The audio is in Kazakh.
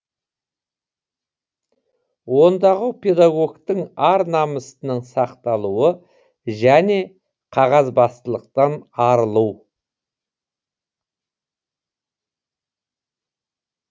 ондағы педагогтің ар намысының сақталуы және қағазбастылықтан арылу